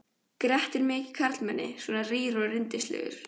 Grettir mikið karlmenni, svona rýr og rindilslegur.